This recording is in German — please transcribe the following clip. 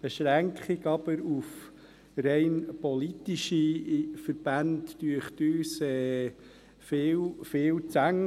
Die Beschränkung auf rein politische Verbände erscheint uns jedoch viel zu eng.